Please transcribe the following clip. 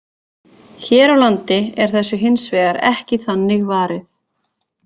Hér á landi er þessu hins vegar ekki þannig varið.